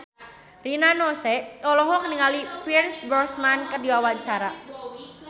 Rina Nose olohok ningali Pierce Brosnan keur diwawancara